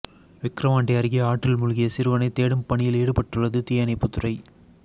விக்கிரவாண்டி அருகே ஆற்றில் மூழ்கிய சிறுவனை தேடும் பணியில் ஈடுபட்டுள்ளது தீயணைப்பு துறை